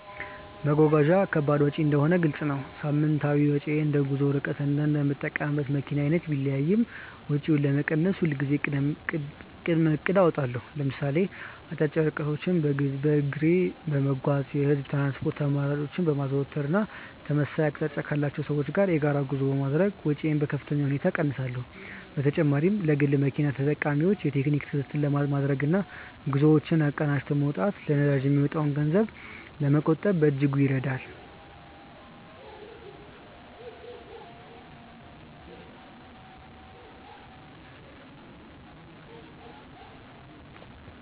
መጓጓዣ ከባድ ወጪ እንደሆነ ግልጽ ነው። ሳምንታዊ ወጪዬ እንደ ጉዞው ርቀትና እንደምጠቀምበት መኪና አይነት ቢለያይም፣ ወጪውን ለመቀነስ ሁልጊዜም ቅድመ እቅድ አወጣለሁ። ለምሳሌ አጫጭር ርቀቶችን በእግር በመጓዝ፣ የህዝብ ትራንስፖርት አማራጮችን በማዘውተር እና ተመሳሳይ አቅጣጫ ካላቸው ሰዎች ጋር የጋራ ጉዞ በማድረግ ወጪዬን በከፍተኛ ሁኔታ እቀንሳለሁ። በተጨማሪም ለግል መኪና ተጠቃሚዎች የቴክኒክ ክትትል ማድረግና ጉዞዎችን አቀናጅቶ መውጣት ለነዳጅ የሚወጣን ገንዘብ ለመቆጠብ በእጅጉ ይረዳል።